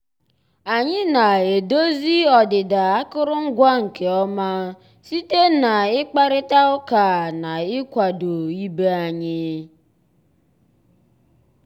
ànyị́ ná-èdòzí ọ́dị́dà àkụ́rụngwa nkè ọ́má síté ná ị́kpàrị́tá ụ́ká ná ị́kwàdó ìbé ànyị́.